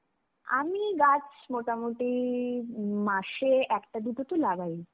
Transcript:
আমি গাছ মোটামুটি মাসে একটা দুটোতো লাগাই.